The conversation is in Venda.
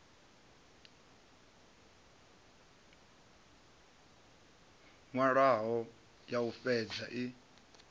nwalwaho ya u fhedza i